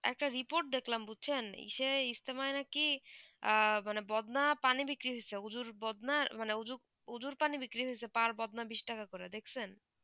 একটা report দেখলাম বুঝছেন ইসে ইস্তেমা নাকি মানে বদনা পানি বিক্রি হয়েছেমানে উজ্জুর বদনা মানে উজ্জুর উজ্জুর পানি বিক্রি হয়েছে পার বদনা বিশ টাকা করে দেখছেন